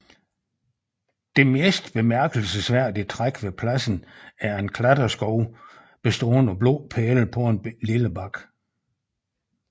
Det mest bemærkelsesværdige træk ved pladsen er en klatreskov bestående af blå pæle på en lille bakke